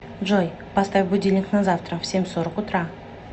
джой поставь будильник на завтра в семь сорок утра